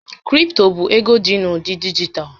Kripto bụ ego dị n'ụdị dijitalụ.